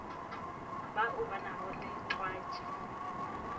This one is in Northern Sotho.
bao ba nago le twatši